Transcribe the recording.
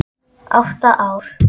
Átta ár.